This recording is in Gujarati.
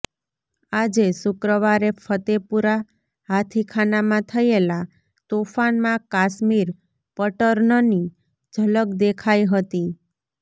આજે શુક્રવારે ફતેપુરા હાથીખાનામાં થયેલા તોફાનમાં કાશ્મીર પેટર્નની ઝલક દેખાઈ હતી